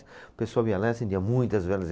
O pessoal vinha lá e acendia muitas velas.